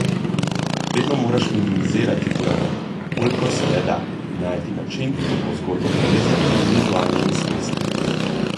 Vedno moraš minimizirati dialog, kolikor se le da, in najti način, kako zgodbo povedati z vizualnimi sredstvi.